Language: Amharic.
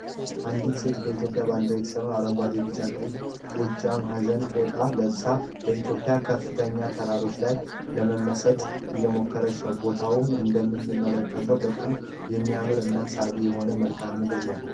አንዲት ሴት በኢትዮጵያ ባንዲራ የተሰራውን ጓዴ ቢጫ ቀይ ጎጃም አዘነ ፎጣ ልብሳ በኢትዮጵያ ከፍተኛ ተራሮች ላይ ለመመሰጥ እየሞከረች ነው። ቦታውም እንደምንመለከተው በጣም የሚያምር እና ሳቢ የሆነ መልክኣምድር ነው ።